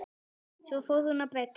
Svo fór hún að breyta.